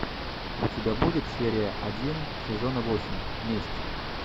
у тебя будет серия один сезона восемь месть